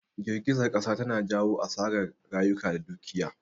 Jirgizar kasa tana jawo asarar rayuka da dukiya